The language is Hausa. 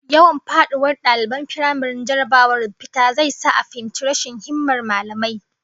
Yawan faduwar daliban firamare jarrabawar fita zai sa a fahimci rashin himmar mallamai